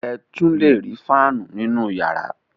Ẹ tún le rí fáánù nínú ìyàrá.